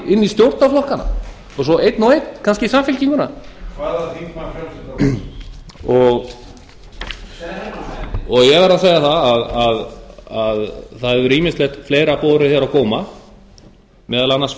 í stjórnarflokkana og svo einn og einn kannski í samfylkinguna ég verð að segja það að það hefur ýmislegt fleira borið hér á góma meðal annars